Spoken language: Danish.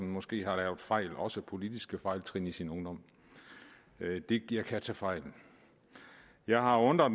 måske har lavet fejl også politiske fejltrin i sin ungdom men jeg kan tage fejl jeg har undret